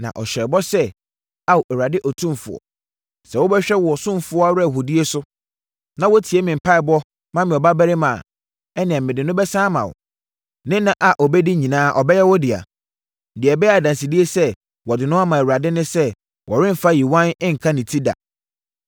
Na ɔhyɛɛ bɔ sɛ, “Ao Awurade Otumfoɔ, sɛ wobɛhwɛ wo ɔsomfoɔ awerɛhoɔdie so, na wotie me mpaeɛbɔ ma me ɔbabarima a, ɛnneɛ mede no bɛsane ama wo. Ne nna a ɔbɛdi nyinaa ɔbɛyɛ wo dea. Deɛ ɛbɛyɛ adansedie sɛ wɔde no ama Awurade ne sɛ wɔremfa yiwan nka ne ti da.”